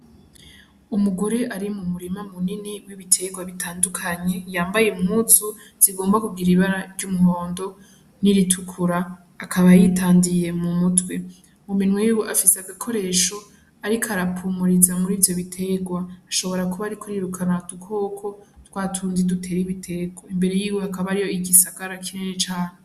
Umugore ari mu murima munini w'ibiterwa bitandukanye yambaye impuzu zigomba kugira ibara ry'umuhondo n'iritukura akaba yitandiriye mu mutwe, mu minwe afise agakoresho ariko arapuriza muri ivyo biterwa, ashobora kuba ariko arirukana udukoko twatundi dutera ibiterwa, imbere yiwe hakaba hariyo igisagara kinini cane.